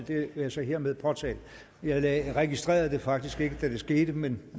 det vil jeg så hermed påtale jeg registrerede det faktisk ikke da det skete men